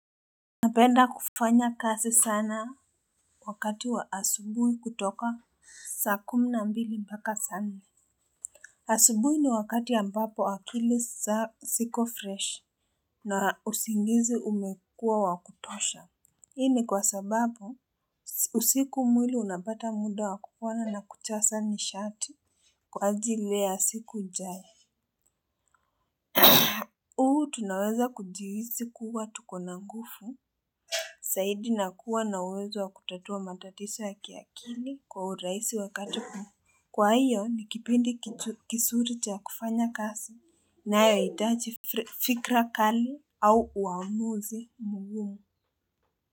Napenda kufanya kazi sana wakati wa asubuhi kutoka saa kumi na mbili mpaka saa nne asubuhi ni wakati ambapo akili ziko fresh na usingizi umekuwa wa kutosha. Hii ni kwa sababu usiku mwili unapata muda wa kupona na kujaza nishati kwa ajili ya siku ijae huu tunaweza kujihisi kuwa tuko na nguvu zaidi na kuwa na uwezo wa kutatua matatizo ya kiakili kwa urahisi wakati huu. Kwa hiyo ni kipindi kizuri cha kufanya kazi inayohitaji fikra kali au uamuzi mungumu.